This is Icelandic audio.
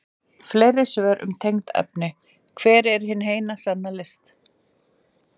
Fleiri svör um tengd efni: Hver er hin eina sanna list?